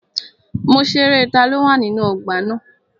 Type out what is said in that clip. Mo ṣerẹ́ taló wà nínú ọgbà na.